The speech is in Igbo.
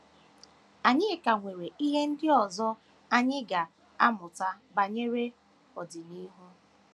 Anyị ka nwere ihe ndị ọzọ anyị ga - amụta banyere ọdịnihu.